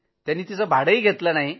त्यांनी तिचं काही भाडं घेतलं नाही